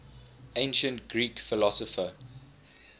ancient greek philosopher